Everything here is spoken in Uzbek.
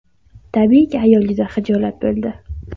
Tabiiyki, ayol juda xijolat bo‘ldi.